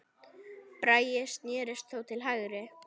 Bragi snérist þó til hægri.